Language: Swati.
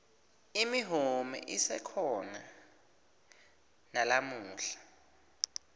imihume isekhona nalamuhla